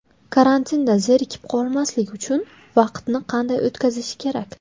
Karantinda zerikib qolmaslik uchun vaqtni qanday o‘tkazish kerak?